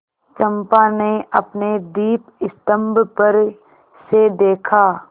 चंपा ने अपने दीपस्तंभ पर से देखा